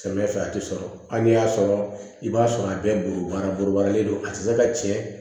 Samiyɛ fɛ a ti sɔrɔ hali n'i y'a sɔrɔ i b'a sɔrɔ a bɛɛ bolobara borobaralen don a tɛ se ka tiɲɛ